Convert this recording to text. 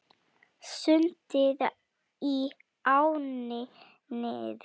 Sundið í ánni Nið